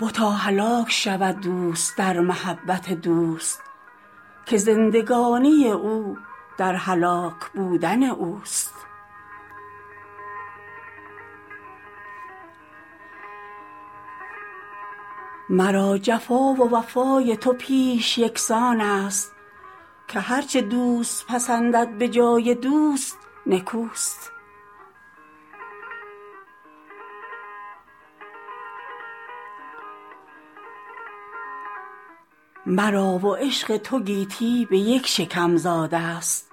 بتا هلاک شود دوست در محبت دوست که زندگانی او در هلاک بودن اوست مرا جفا و وفای تو پیش یکسان است که هر چه دوست پسندد به جای دوست نکوست مرا و عشق تو گیتی به یک شکم زاده ست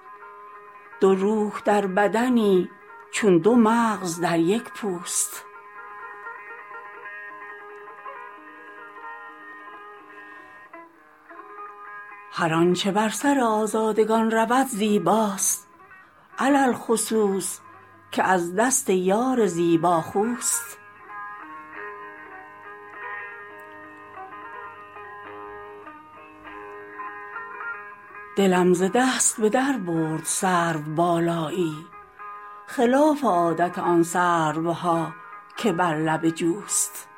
دو روح در بدنی چون دو مغز در یک پوست هر آنچه بر سر آزادگان رود زیباست علی الخصوص که از دست یار زیباخوست دلم ز دست به در برد سروبالایی خلاف عادت آن سروها که بر لب جوست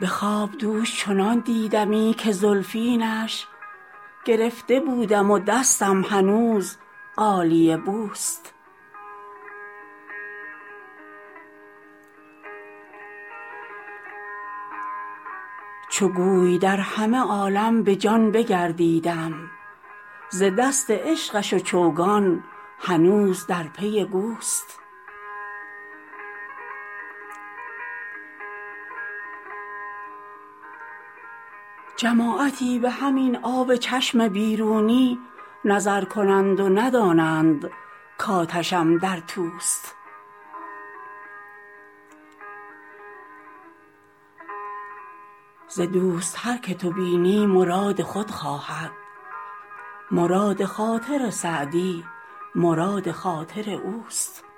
به خواب دوش چنان دیدمی که زلفینش گرفته بودم و دستم هنوز غالیه بوست چو گوی در همه عالم به جان بگردیدم ز دست عشقش و چوگان هنوز در پی گوست جماعتی به همین آب چشم بیرونی نظر کنند و ندانند کآتشم در توست ز دوست هر که تو بینی مراد خود خواهد مراد خاطر سعدی مراد خاطر اوست